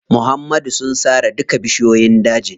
Muhammad sun sare duka bishiyoyin dajin.